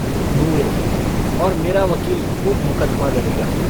नूरे - और मेरा वकील खूब मुकदमा लड़ेगा।